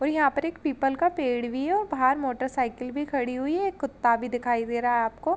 और यहाँ पर एक पीपल का पेड़ भी है और बहार मोटर-साइकिल भी खड़ी हुई है। एक कुत्ता भी दिखाई दे रहा है आपको।